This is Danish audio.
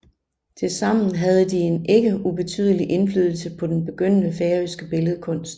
Tilsammen havde de en ikke ubetydelig indflydelse på den begyndende færøske billedkunst